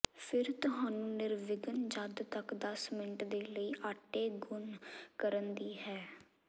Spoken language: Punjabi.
ਫਿਰ ਤੁਹਾਨੂੰ ਨਿਰਵਿਘਨ ਜਦ ਤੱਕ ਦਸ ਮਿੰਟ ਦੇ ਲਈ ਆਟੇ ਗੁਨ੍ਹ ਕਰਨ ਦੀ ਹੈ